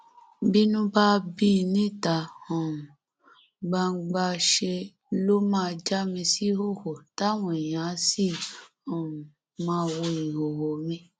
bínú bá bí i níta um gbangba ṣe ló máa já mi síhòòhò táwọn èèyàn áà áà sì um máa wo ìhòòhò mi